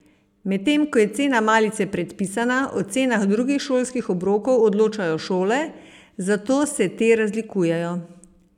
Medtem ko je cena malice predpisana, o cenah drugih šolskih obrokov odločajo šole, zato se te razlikujejo.